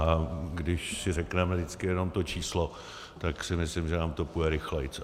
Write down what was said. A když si řekneme vždycky jenom to číslo, tak si myslím, že nám to půjde rychleji.